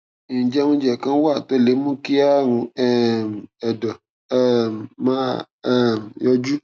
ǹjẹ oúnjẹ kan wà tó lè mú kí àrùn um ẹdọ um máa um yọjú